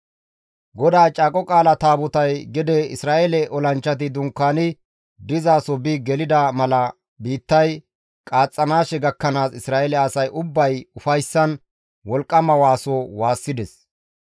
GODAA Caaqo Qaala Taabotay gede Isra7eele olanchchati dunkaani dizaso bi gelida mala biittay qaaxxanaashe gakkanaas Isra7eele asay ubbay ufayssan wolqqama waaso waassides.